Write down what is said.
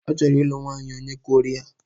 Ọ chọrọ ịlụ nwanyị onye Koria.